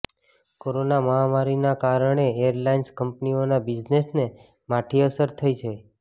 corona મહામારીના કારણે airlines કંપનીઓના બિઝનેસને માઠી અસર થઈ છે